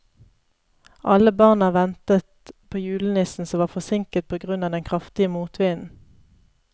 Alle barna ventet på julenissen, som var forsinket på grunn av den kraftige motvinden.